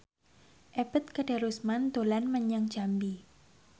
Ebet Kadarusman dolan menyang Jambi